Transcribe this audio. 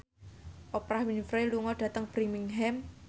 Oprah Winfrey lunga dhateng Birmingham